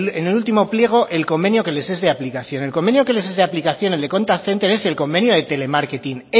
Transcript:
en el último pliego el convenio que les es de aplicación el convenio que les es de aplicación el de contact center es el convenio de telemarketing